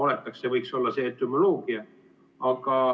See võiks olla see etümoloogia.